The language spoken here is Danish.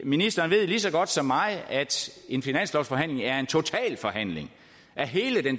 ministeren ved lige så godt som mig at en finanslovsforhandling er en totalforhandling